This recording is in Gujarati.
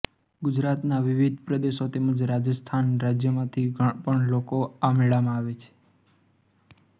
ગુજરાતના વિવિધ પ્રદેશો તેમજ રાજસ્થાન રાજ્યમાંથી પણ લોકો આ મેળામાં આવે છે